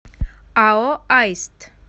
ао аист